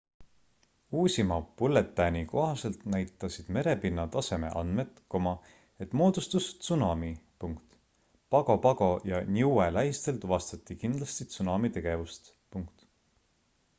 uusima bülletääni kohaselt näitasid merepinna taseme andmed et moodustus tsunami pago pago ja niue lähistel tuvastati kindlasti tsunami tegevust